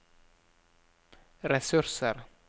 ressurser